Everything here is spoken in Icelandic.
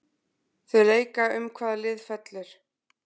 Þau leika um hvaða lið fellur.